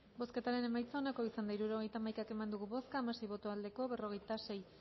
bozketaren emaitza onako izan da hirurogeita hamaika eman dugu bozka hamasei boto aldekoa berrogeita sei